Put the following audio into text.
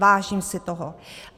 Vážím si toho.